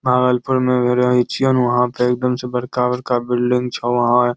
भागलपुर मे हम्मे रहै छियो ने वहां पे एकदम से बड़का-बड़का बिल्डिंग छो वहे --